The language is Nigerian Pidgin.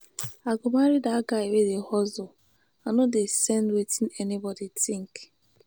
i go marry dat guy wey dey hustle i no send wetin anybodi tink.